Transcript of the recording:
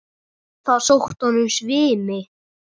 Það sótti að honum svimi.